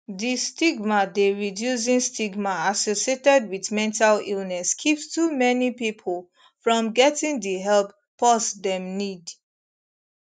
di stigma dey reducing stigma associated wit mental illness keeps too many pipo from getting di help pause dem need